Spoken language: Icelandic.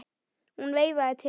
Hún veifaði til hans.